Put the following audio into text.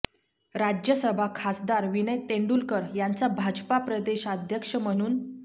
राज्यसभा खासदार विनय तेंडुलकर यांचा भाजपा प्रदेशाध्यक्ष म्हणून